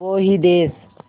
वो ही देस